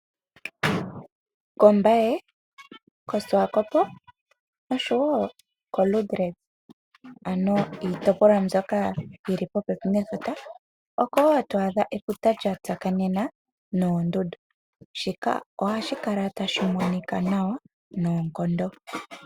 KOmbaye, kOswakopo noshowo koLiindili, ano iitopolwa mbyoka yi li popepi nefuta, oko wo to adha efuta lya tsakanena noondundu. Shika ohashi kala tashi monika nawa noonkondo.